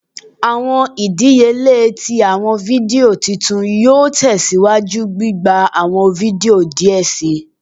Awọn idiyele ti awọn fidio titu yoo tẹsiwaju gbigba awọn fidio diẹ sii